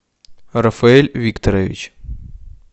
рафаэль викторович